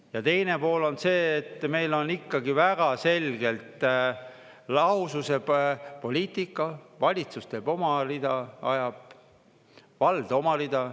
Ja teine pool on see, et meil on ikkagi väga selgelt lahususe poliitika: valitsus teeb oma rida, vald oma rida.